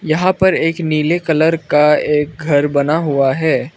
यहां पर एक नीले कलर का एक घर बना हुआ है।